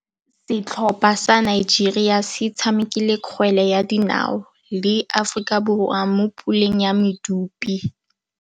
Setlhopha sa Nigeria se tshamekile kgwele ya dinaô le Aforika Borwa mo puleng ya medupe.